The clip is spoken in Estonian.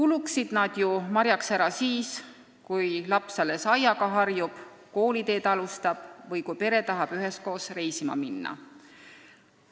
Need päevad võiksid marjaks ära kuluda siis, kui laps alles lasteaiaga harjub, kooliteed alustab või kui pere tahab üheskoos reisima minna.